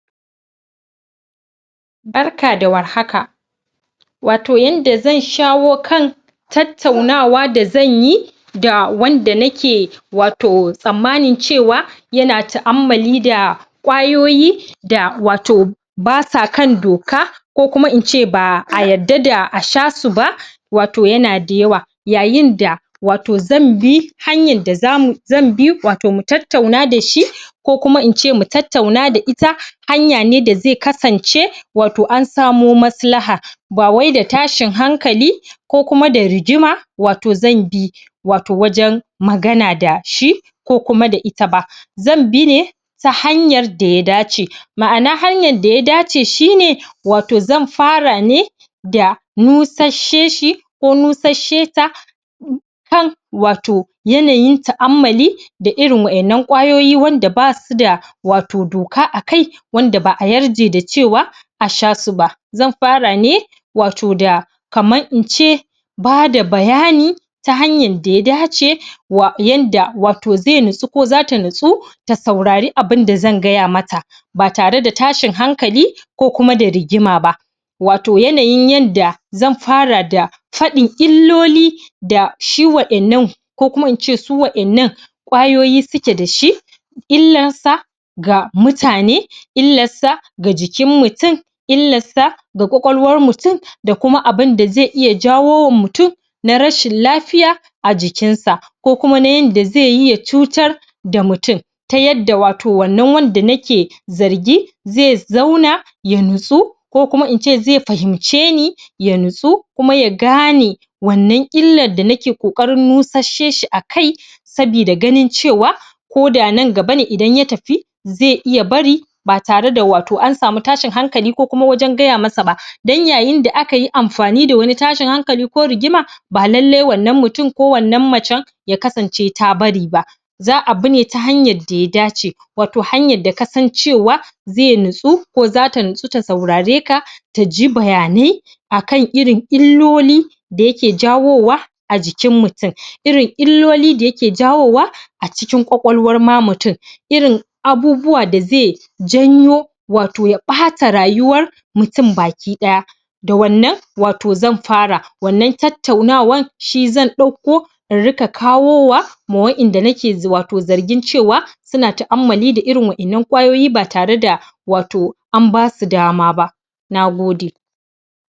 Barka da warhaka Wato yanda zan shawo kan tattaunawa da zan yi da wanda nike wato tsammanin cewa yana ta'ammali da ƙwayoyi da wato ba sa kan doka ko kuma in ce ba a yadda da a sha su ba wato yana da yawa, yayin da wato zan bi hanyar da za mu zan bi wato mutattauna da shi. ko kuma in ce mutattauna da ita, hanya ne da zai kasance wato an samo maslaha ba wai da tashin hankali ko kuma da rigima zan bi wato wajen magana da shi ko kuma da ita ba. zan bi ne ta hanyar da ya dace ma'ana hanyar da ya da ce shi ne wato zan fara ne da nusasseshi ko nusasshe ta a kan wato yanayin ta'ammali da irin wa'innan ƙwayoyi wanda ba su da wato doka a kai wanda ba yarje da cewa a sha su ba, zan fara ne wato da kamar in ce ba da bayani ta hanyar da ya dace wa yanda wato zai natsu ko za ta natsu ta saurari abin da zan gaya mata ba tare da tashin hankali ko kuma da rigima ba wato yanayin yanda zan fara da faɗin illolin da shi wa'innan ko kuma in ce su waɗannan ƙwayoyi suke da shi illarsa ga mutane illarsa ga jikin mutum illarsa ga ƙwaƙwalwar mutum da kuma abinda zai iya jawo wa mutum na rashin lafiya a jikinsa. ko kuma na yanda zai yi ya cutar da mutum ta yadda wato wannan wanda nike zargi zai zauna ya natsu ko kuma in ce zai fahimce ni ya natsu. Kuma ya gane wannan illar da nike ƙoƙarin nusassheshi a kai sabida ganin cewa ko da nan gaba ne idan ya tafi zai iya bari ba tare da wato tashin hankali ko kuma wajen gaya masa ba. dan yayin da aka yi amfani da wani tashin hankali ko rigima ba lallai wannan mutum ko wannan macen ya kasance ta bari ba za a bi ne ta hanyar da ya dace, wato hanyar da ka san cewa zai natsu ko za ta natsu ta saurare ka ta ji bayanai a kan irin illolin da yake jawowa a jikin mutum. irin illolin da yake jawowa a cikin ƙwaƙwalwar ma mutum, irin abubuwa da zai janyo wato ya ɓata rayuwar mutum baki ɗaya da wannan wato zan fara, wannan tattaunawar shi zan ɗauko in rika kawaowa ma wa'inda nike zargin cewa suna ta'ammali da irin waɗannan ƙwayoyin ba tare da wato an ba su dama ba, na gode.